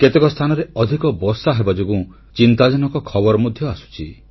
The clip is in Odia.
କେତେକ ସ୍ଥାନରେ ଅଧିକ ବର୍ଷା ହେବାଯୋଗୁଁ ଚିନ୍ତାଜନକ ଖବର ମଧ୍ୟ ଆସୁଛି